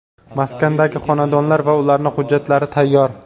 Maskandagi xonadonlar va ularni hujjatlari tayyor.